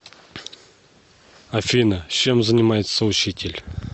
афина чем занимается учитель